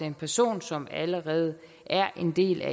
en person som allerede er en del